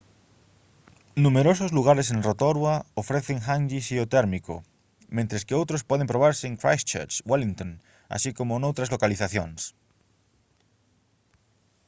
numerosos lugares en rotorua ofrecen «hangi» xeotérmico mentres que outros poden probarse en christchurch wellington así como noutras localizacións